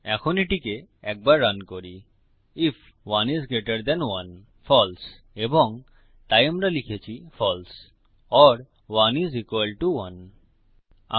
এখন এটিকে একবার রান করি আইএফ 1 আইএস গ্রেটের থান 1 যদি ১ ১ এর থেকে বড় হয় ফালসে এবং তাই আমরা লিখেছি false or 1 is equal to 1 ১ ১ এর সমান হয়